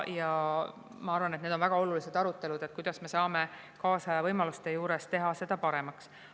Ja ma arvan, et väga oluline arutelu on see, kuidas me saame kaasaja võimaluste juures teha seda paremaks.